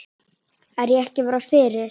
Er ég ekki bara fyrir?